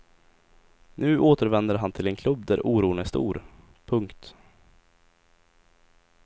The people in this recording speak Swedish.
Nu återvänder han till en klubb där oron är stor. punkt